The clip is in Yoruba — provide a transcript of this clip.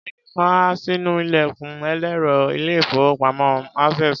Ẹnìkan há sínú ilẹ̀kùn ẹlẹ́rọ ilé-ìfowópamọ́ Access.